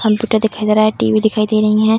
Home theatre दिखाई दे रहा है टी.वी. दिखाई दे रहीं हैं।